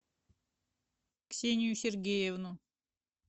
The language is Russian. ксению сергеевну